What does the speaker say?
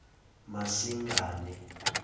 masingane